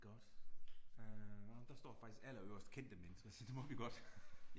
Godt øh nåh der står faktisk allerøverst kendte mennesker, så det må vi godt